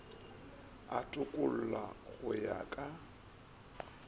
a tokollo go ya ka